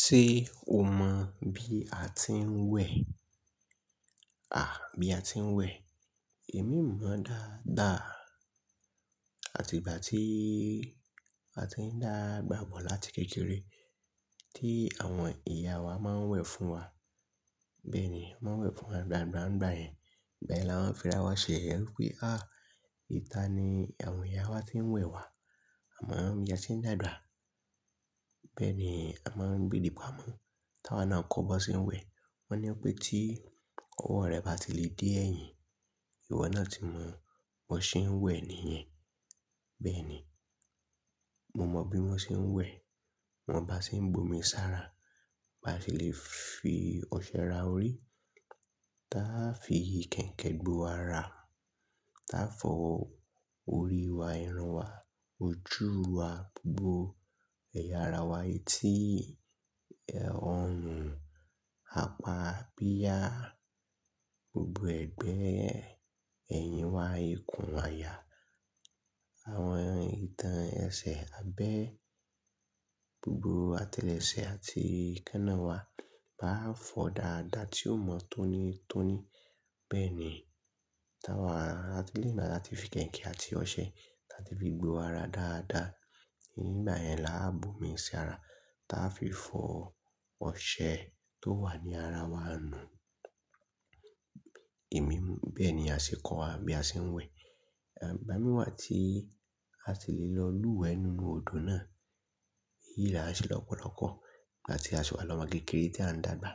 Ṣé o mọ̀ bí a ti ń wẹ̀? À, bí a ti ń wẹ̀. Èmi mọ̀ dáadáa àti ìgbà tí a ti ń dàgbà bọ̀ láti kékeré tí àwọn ìyá wa máa ń wẹ̀ fún wa. Bẹ́ẹ̀ ni, wọ́n máa ń wẹ̀ fún wa n gbàǹgbà ń gbà yẹn. Igbayen la man fi ra wa ṣe yẹ̀yẹ́. Ẹ rí pé, à, ìta ni àwọn ìyá wa ti ń wẹ̀ wá, àmọ́ bí a tí ń dàgbà. Bẹ́ẹ̀ ni a máa ń gbedì pa mọ́. Tí àwa náà kọ́ ọ bí wọ́n ṣe ń wẹ̀, wọ́n ní pé tí ọwọ́ rẹ bá ti lè dé ẹ̀yìn, ìwọ náà ti mọ̀ bí wọ́n ṣe ń wẹ̀ nìyẹn. Bẹ́ẹ̀ ni, mo mọ bí wọ́n ṣe ń wẹ̀. Mo mọn bá ṣe ń bomi sára, bá ṣe lè fi ọṣẹ ra orí, táa fi kẹ̀iǹkẹ̀in gbo ara, táa fọ orí wa, irun wa, ojú wa, gbo ẹ̀yà ara wa, etí, ọrùn, apá abíya, gbogbo ẹ̀gbẹ́ ẹ̀yìn wa, ikùn, àyà, àwọn ìtàn ẹsẹ̀, abẹ́, gbogbo atẹlẹsẹ̀ àti èékánná wa àá fọ dáadáa tí ó mọ́ tónítóní. Bẹ́ẹ̀ ni, tí àwa bá ti lẹ́yìn ìgbà tí áti fi kẹ̀iǹkẹ̀in àti ọṣẹ tati fi gbo ara dáadáa, ngbà yẹn la á bomi sára táa fi fọ ọṣẹ tó wà ní ara wa nu. Èmi, bẹ́ẹ̀ ni a ṣe kọ́ wa bí a ṣe ń wẹ̀. Ẹ̀, ìgbà mìí wa tí a sì lè lọ lúwẹ̀ẹ́ nínú odò náà, èyíi la ń ṣe lọ́pọ̀lọ́pọ̀ n gbáti a ṣiwa lọ́mọ̀ kékeré tí a ń dàgbà.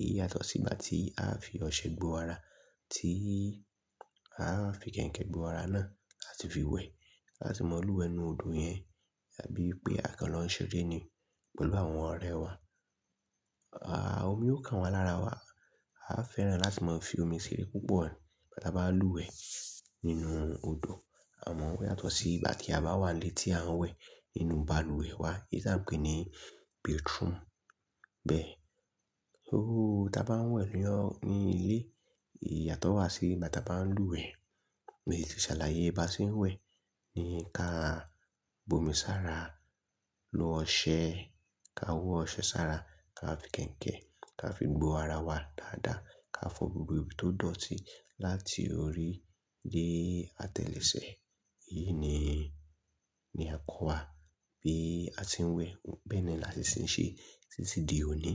Èyí yàtọ̀ sí ìgbà tí a fi ọṣẹ gbo ara, tí a fi kẹ̀iǹkẹ̀in gbo ara náà tasi fi wẹ̀. A sì mọ̀ lúwẹ̀ẹ́ nú odò yẹn, àbí pé a kan lọ́n ṣeré ni pẹ̀lú àwọn ọ̀rẹ́ wa. À, omi ó kan wá lára wa. A fẹ́ràn láti máa fi omi ṣeré púpọ̀ ìgbà ta bá ń lúwẹ̀ẹ́ nínú odò. Àmọ́ ó yàtọ̀ sí ìgbà tí a bá wà n lé tí a ń wẹ̀ nínú balùwẹ̀ wa, èyí tí à ń pè ní "bathroom". Bẹ́ẹ̀. Ó, tí a bá ń wẹ̀ ní ọ-- ní ilé, ìyàtọ̀ wà sí ìgbà tí a bá ń lúwẹ̀ẹ́, mo sì ti ṣàlàyé baa ṣe ń wẹ̀ ni ká bomi sára, lo ọṣẹ, ká họ ọṣẹ sára, ká fi kẹ̀iǹkẹ̀in ká fi gbo ara wa dáadáa, ká fọ gbogbo ibi tó dọ̀tí láti orí dé atẹlẹsẹ̀. Èyí ni, ni a kọ́wa bí a ti ń wẹ̀. Bẹ́ẹ̀ náà làsi ṣe ń ṣe, títí di òní.